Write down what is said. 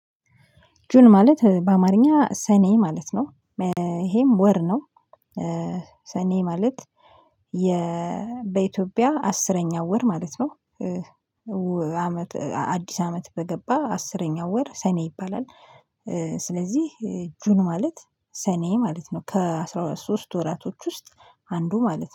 ጁን ማለት በአማርኛ ሰኔ ማለት ነው፤ ይሄም ወር ነው። ሰኔ ማለት የ በኢትዮጵያ አስረኛው ወር ማለት ነው። አመት አዲስ አመት በገባ አስረኛው ወር ሰኔ ይባላል። ስለዚህ ጁን ማለት ሰኔ ማለት ነው። ከአስራ ሶስት ወራቶች ውስጥ አንዱ ማለት ነው።